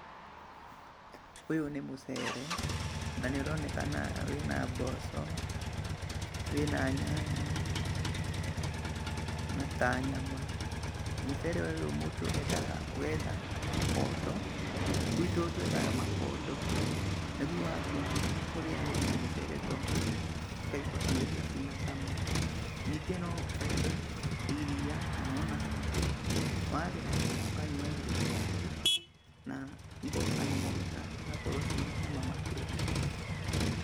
Ũyũ nĩ mũcere, na nĩũronekana wĩna mboco, wĩna nyanya, na ta nyama, mũcere ũyũ mũndũ endaga ũgetha ikondo, gwitũ twethaga makondo, nĩguo watua kũrĩanĩri na mũcere ta ũyũ, ũkaigua irio icio cina cama, ningĩ nowethe iria kana ona cai, warĩa ũkanyuanĩria na cai na igokonwo wega, igakorwo ina cama makĩria.